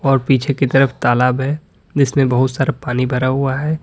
और पीछे की तरफ तालाब है जिसमें बहुत सारा पानी भरा हुआ है।